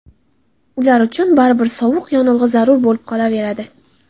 Ular uchun baribir suyuq yonilg‘i zarur bo‘lib qolaveradi.